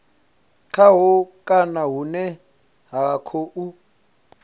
khaho kana hune vha khou